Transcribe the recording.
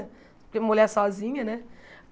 Porque mulher sozinha, né?